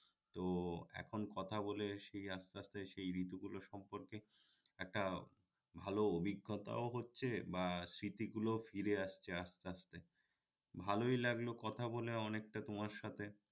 তো এখন কথা বলে সেই আস্তে আস্তে সেই ঋতুগলো সম্পর্কে একটা ভাল অভিজ্ঞতাও হচ্ছে বা স্মৃতিগুলো ফিরে আসছে আস্তে আস্তে ভালই লাগলো কথা বলে অনেকটা তোমার সাথে